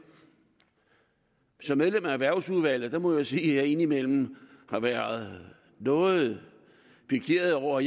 som medlem af erhvervsudvalget må jeg jo sige at jeg indimellem har været noget pikeret over